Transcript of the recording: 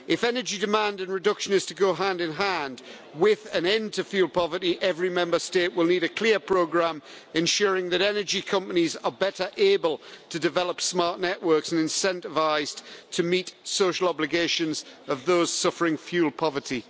If energy demand and reduction is to go hand-in-hand with an end to fuel poverty, every Member State will need a clear programme, ensuring that energy companies are better able to develop smart networks and incentivised to meet the social obligations of those suffering fuel poverty.